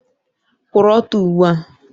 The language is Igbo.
Kwụrụ ọtọ ugbu a!